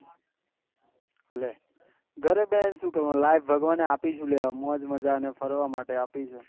લે ઘરે બેહી ને શું કરવાનું લાયફ ભગવાને આપી શું લેવા મોજ મજા ને ફરવા માટે આપી છે